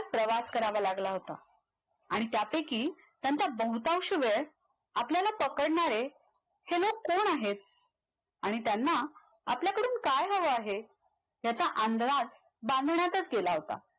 प्रवास करावा लागला होता आणि त्यापैकी त्यांचा बहुतांश वेळ आपल्याला पकडणारे हे लोक कोण आहेत आणि त्यांना आपल्याकडून काय हवं आहे याचा अंदाज बांधण्यातच गेला होता